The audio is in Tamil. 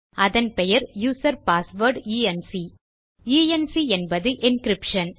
அதன் பெயர் user password E N C ENC என்பது என்கிரிப்ஷன்